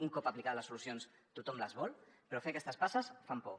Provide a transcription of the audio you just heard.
un cop aplicades les solucions tothom les vol però fer aquestes passes fa por